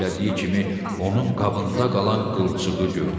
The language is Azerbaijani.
söylədiyi kimi, onun qabında qalan qılçığı gördü.